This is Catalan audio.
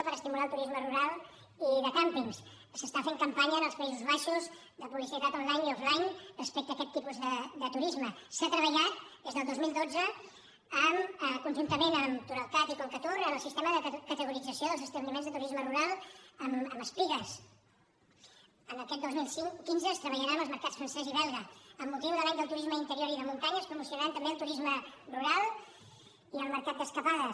per estimular el turisme rural i de càmpings s’està fent campanya als països baixos de publicitat onlinea aquest tipus de turisme s’ha treballat des del dos mil dotze conjuntament amb turalcat i concatur en el sistema de categorització dels establiments de turisme rural amb espigues aquest dos mil quinze es treballarà amb els mercats francès i belga amb motiu de l’any del turisme d’interior i de muntanya es promocionaran també el turisme rural i el mercat d’escapades